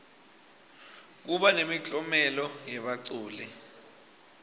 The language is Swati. kuba nemiklomelo yebaculi